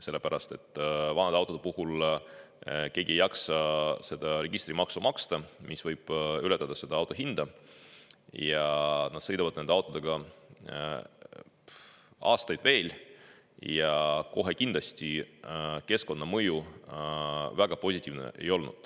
Sellepärast et vanade autode puhul keegi ei jaksa maksta registritasu, mis võib ületada auto hinda, ja nad sõidavad nende autodega veel aastaid ja kohe kindlasti keskkonnamõju väga positiivne ei ole.